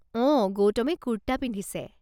অঁ, গৌতমে কুৰ্টা পিন্ধিছে।